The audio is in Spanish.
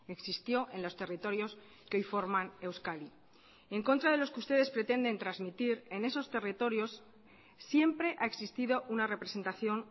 existió en los territorios que hoy forman euskadi en contra de lo que ustedes pretenden transmitir en esos territorios siempre ha existido una representación